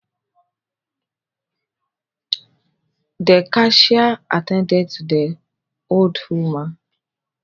The cashier attended to the old woman